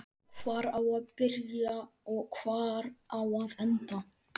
Hvar á að byrja og hvar á að enda?